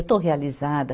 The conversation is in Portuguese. Eu estou realizada.